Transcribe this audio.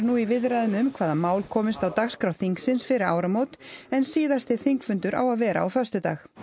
nú í viðræðum um hvaða mál komist á dagskrá þingsins fyrir áramót en síðasti þingfundur á að vera á föstudag